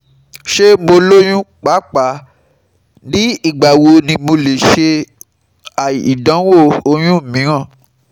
Ṣe mo loyun? Paapaa, nigba wo ni mo le ṣe idanwo oyun miiran?